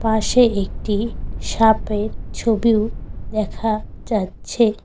পাশে একটি সাপের ছবিও দেখা যাচ্ছে।